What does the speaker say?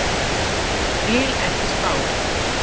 Vil ekki spá.